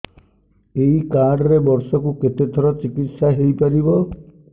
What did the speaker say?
ଏଇ କାର୍ଡ ରେ ବର୍ଷକୁ କେତେ ଥର ଚିକିତ୍ସା ହେଇପାରିବ